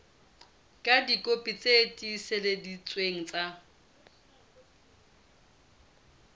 ka dikopi tse tiiseleditsweng tsa